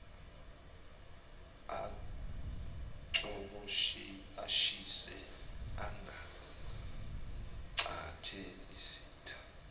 acoboshise acangcathe isitha